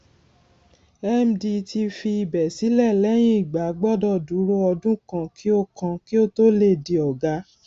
md tí fi ibè sílè lẹyìn igba gbọdọ dúró ọdún kan kí ó kan kí ó tó lè di ọgá